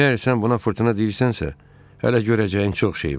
Əgər sən buna fırtına deyirsənsə, hələ görəcəyin çox şey var.